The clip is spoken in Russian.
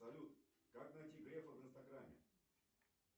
салют как найти грефа в инстаграме